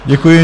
Děkuji.